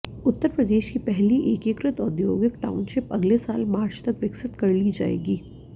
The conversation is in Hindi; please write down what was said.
उत्तर प्रदेश की पहली एकीकृत औद्योगिक टाउनशिप अगले साल मार्च तक विकसित कर ली जाएगी